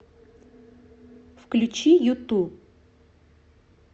включи юту